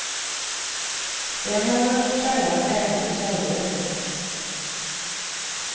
Det har jag hört sägas även till tjejer.